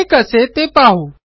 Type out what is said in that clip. हे कसे ते पाहू